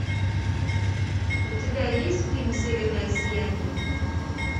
у тебя есть фильм северное сияние